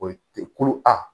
O ye kolo a